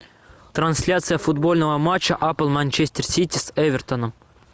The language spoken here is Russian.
трансляция футбольного матча апл манчестер сити с эвертоном